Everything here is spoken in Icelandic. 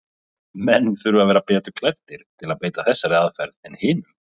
Menn þurfa að vera betur klæddir til að beita þessari aðferð en hinum.